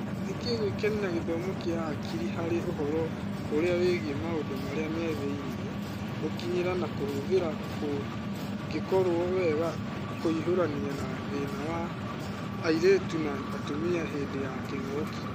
Nĩkĩĩ gũĩkenia na gĩthomo kĩa Akiri harĩ ũhoro ũrĩa wĩgiĩ maũndũ marĩa methĩinĩ, gũkinyĩra na kũhũthĩra kũngĩkũrio wega kũhiũrania na thĩna wa airĩtu na atumia hĩndĩ ya kĩng'ũki?